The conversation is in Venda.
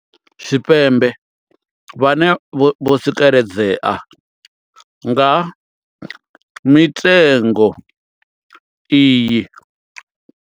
Tshipembe vhane vho tsikeledzea nga mitengo iyi.